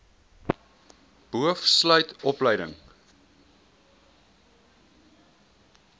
boov sluit opleiding